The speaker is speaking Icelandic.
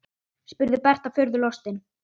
spurði Berta furðu lostin.